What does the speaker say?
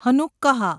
Hanukkah